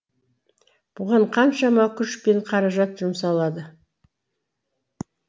бұған қаншама күш пен қаражат жұмсалады